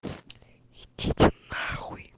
идите нахуй